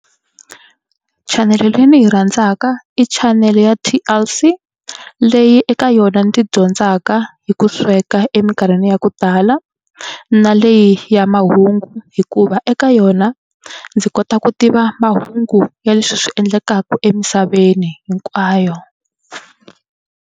Chanele leyi ndzi yi rhandzaka i chanele ya T_L_C leyi eka yona ndzi dyondzaka hi ku sweka emikarhini ya ku tala na leyi ya mahungu hikuva eka yona ndzi kota ku tiva mahungu ya leswi swi endlekaka emisaveni hinkwayo.